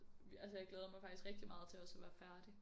Altså jeg glæder mig faktisk rigtig meget til også at være færdig